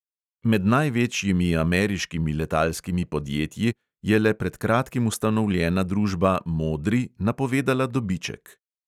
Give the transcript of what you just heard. Med največjimi ameriškimi letalskimi podjetji je le pred kratkim ustanovljena družba modri napovedala dobiček.